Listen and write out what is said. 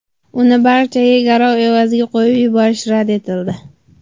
Uni bungacha garov evaziga qo‘yib yuborish rad etildi.